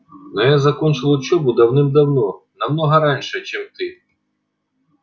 но я закончил учёбу давным-давно намного раньше чем ты